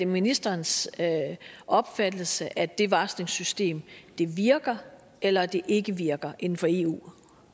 ministerens opfattelse at det varslingssystem virker eller at det ikke virker inden for eu